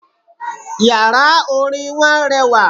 Yàrá Orin wọn rewà